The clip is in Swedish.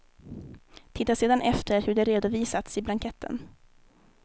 Titta sedan efter hur det redovisats i blanketten.